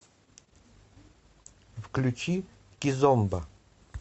включи кизомба